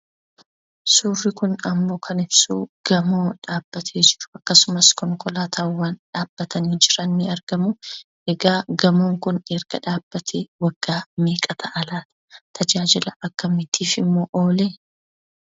Suurri kun ammoo kan ibsu gamoo dhaabbatee jiru, akkasumas konkolaatawwan dhaabbatanii jiran ni argamu. Egaa gamoon kun erga dhaabbatee waggaa meeqa ta'a laata tajaajila akkamiitifimmoo oolee?